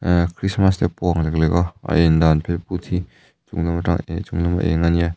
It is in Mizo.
ahh krismas te pawh a ang lek lek a a en dan phet phut hi chung lam atanga ehh chung lam êng ania.